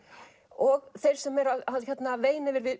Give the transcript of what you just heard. og þeir sem eru að veina yfir